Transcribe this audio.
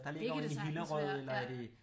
Det kan det sagtens være ja